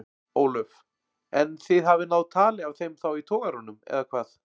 Ólöf: En þið hafið náð tali af þeim þá í togaranum eða hvað?